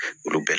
Olu bɛɛ